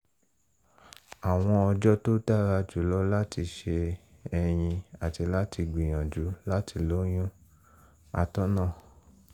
àwọn ọjọ́ tó dára jùlọ láti ṣe ẹyin àti láti gbìyànjú láti lóyún? atọ́nà